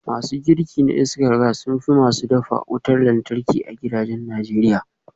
Masu girki na iskar gas sun fi masu dafa wutar lantarki a gidajen Najeriya